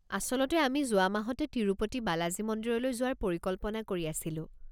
আচলতে, আমি যোৱা মাহতে তিৰুপতি বালাজী মন্দিৰলৈ যোৱাৰ পৰিকল্পনা কৰি আছিলোঁ।